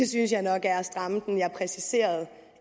synes jeg nok er at stramme den jeg præciserede